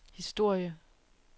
historie